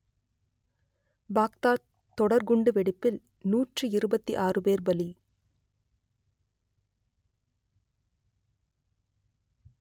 Baghdad தொடர்குண்டு வெடிப்பில் நூற்றி இருபத்தி ஆறு பேர் பலி